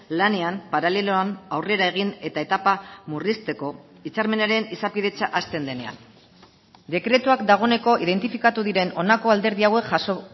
lanean paraleloan aurrera egin eta etapa murrizteko hitzarmenaren izapidetza hazten denean dekretuak dagoeneko identifikatu diren honako alderdi hauek jaso